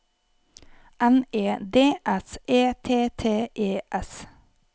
N E D S E T T E S